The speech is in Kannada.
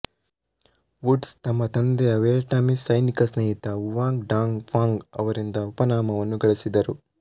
ವುಡ್ಸ್ ತಮ್ಮ ತಂದೆಯ ವಿಯೆಟ್ನಾಮೀಸ್ ಸೈನಿಕ ಸ್ನೇಹಿತ ವುವಾಂಗ್ ಡಾಂಗ್ ಫಾಂಗ್ ಅವರಿಂದ ಉಪನಾಮವನ್ನು ಗಳಿಸಿದರು